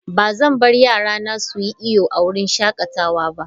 Ba zan bar yarana su yi iyo a wurin shakatawa ba.